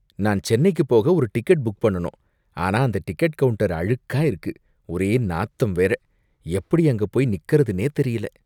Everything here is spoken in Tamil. நான் சென்னைக்குப் போக ஒரு டிக்கெட் புக் பண்ணனும். ஆனா அந்த டிக்கெட் கவுண்டர் அழுக்கா இருக்கு, ஒரே நாத்தம் வேற. எப்படி அங்க போய் நிக்கறதுன்னே தெரியல.